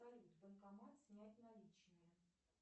банкомат снять наличные